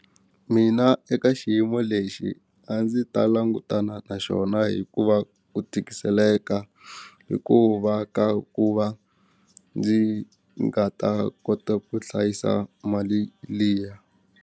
Mina eka xiyimo lexi a ndzi ta langutana na xona hikuva ku tikiseleka hikuva ka ku va ndzi nga ta kota ku hlayisa mali liya.